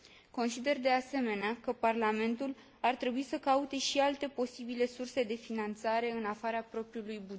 Consider, de asemenea, că Parlamentul ar trebui să caute și alte posibile surse de finanțare în afara propriului buget.